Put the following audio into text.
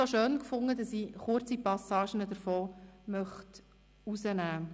Ich fand es aber so schön, dass ich daraus zitieren möchte: